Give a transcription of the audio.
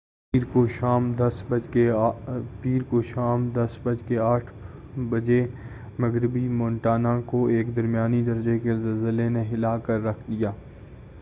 پیر کو شام 10:08 بجے مغربی مونٹانا کو ایک درمیانے درجے کے زلزلے نے ہِلا کر رکھ دیا